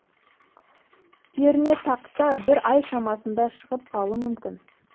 пернетақта бір ай шамасында шығып қалуы мүмкін